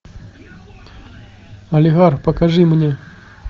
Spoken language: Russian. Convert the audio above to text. олигарх покажи мне